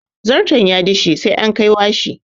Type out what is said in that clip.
Zarton ya dishe sai an kai washi.